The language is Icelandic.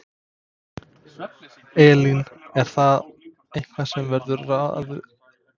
Elín: Er það eitthvað sem verður ráðist í fljótlega?